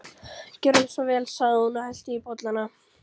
Gjörðu svo vel sagði hún og hellti í bollana.